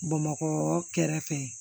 Bamakɔ kɛrɛfɛ